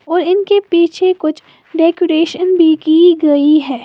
और इनके पीछे कुछ डेकोरेशन भी की गई है।